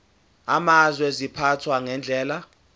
amazwe ziphathwa ngendlela